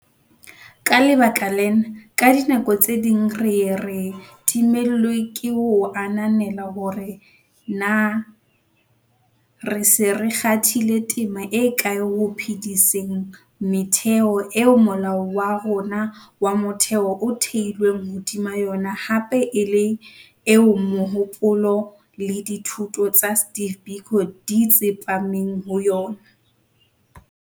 Ka lebaka lena, ka dinako tse ding re ye re timellwe ke ho ananela hore na re se re kgathile tema e kae ho phe-diseng metheo eo Molao wa rona wa Motheo o theilweng hodima yona hape e le eo mohopolo le dithuto tsa Steve Biko di tsepameng ho yona.